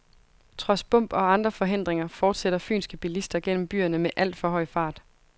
Trods bump og andre forhindringer fortsætter fynske bilister gennem byerne med alt for høj fart.